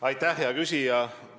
Aitäh, hea küsija!